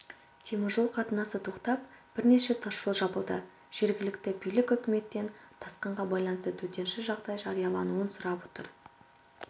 теміржол қатынасы тоқтап бірнеше тасжол жабылды жергілікті билік үкіметтен тасқынға байланысты төтенше жағдай жариялауын сұрап отыр